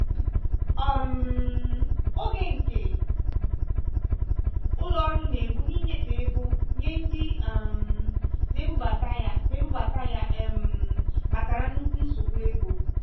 um ọge nke ụlọ ọrụ na-egbu n'ịnyefe ego nye ndị um na-ebubata ya na-ebubata ya um kpatara nnukwu nsogbu ego